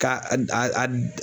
Ka a d